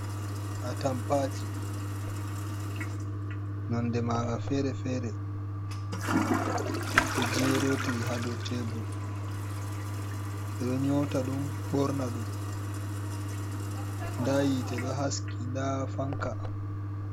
Atampaji nonɗe maga fere-fere. Ɗo jerotiri haɗow tebul. Beɗo nyota ɗum borna ɗum. Ɗa yite ɗo haski ɗa fanka.